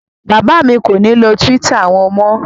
Bàbá mi kò ní lo Twitter wọn mọ́.